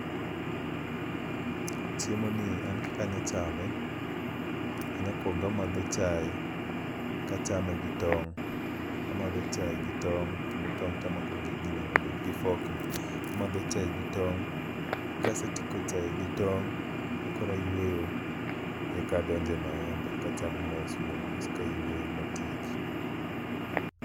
Chiemo ni an kaka anya chame, anya kuongo amadho chae kachame gi tong'. Amadho chae gi tong' kendo tong' tamako gi ginene no, gi fork no. Amadho chae gi tong', kasetieko chae gi tong' ma kor oayweyo, e kadonje maembe kachamo mos mos kayweyo matieki.